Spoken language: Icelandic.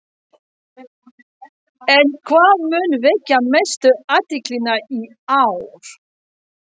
En hvað mun vekja mestu athyglina í ár?